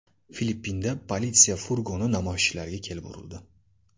Filippinda politsiya furgoni namoyishchilarga kelib urildi.